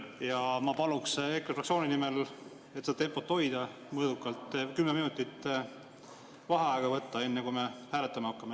... ja ma paluksin EKRE fraktsiooni nimel, et seda tempot mõõdukalt hoida, võtta kümme minutit vaheaega, enne kui hääletama hakkame.